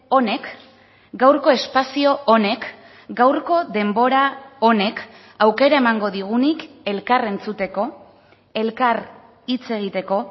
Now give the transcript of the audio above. honek gaurko espazio honek gaurko denbora honek aukera emango digunik elkar entzuteko elkar hitz egiteko